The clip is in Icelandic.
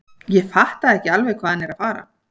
Ég fatta ekki alveg hvað hann er að fara.